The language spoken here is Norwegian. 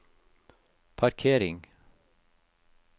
parkering